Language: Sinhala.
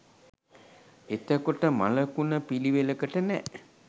එතකොට මළකුණ පිළිවෙලකට නෑ